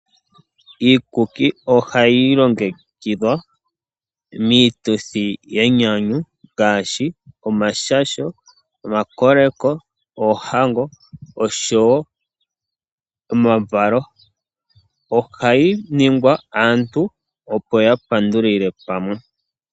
Iikuki ohayi longekidhwa miituthi yenyanyu ngaashi omashasho, omakoleko, oohango osho wo omavalo. Ohayi ningwa aantu opo ya pandulile pamwe .